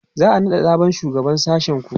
za'a naɗa sabon shugaban sashen ku?